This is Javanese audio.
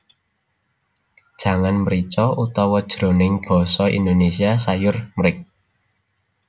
Jangan mrica Utawa jroning basa Indonésia sayur mric